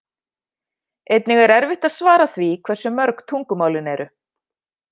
Einnig er erfitt að svara því hversu mörg tungumálin eru.